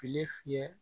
Fili fiyɛ